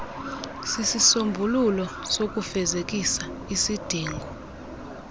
isisombululo sokufezekisa isidingo